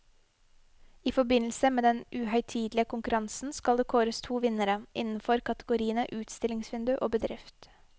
I forbindelse med den uhøytidelige konkurransen skal det kåres to vinnere, innenfor kategoriene utstillingsvindu og bedrift.